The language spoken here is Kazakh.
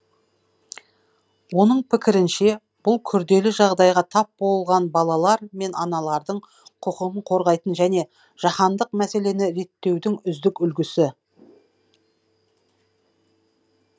оның пікірінше бұл күрделі жағдайға тап болған балалар мен аналардың құқығын қорғайтын және жаһандық мәселені реттеудің үздік үлгісі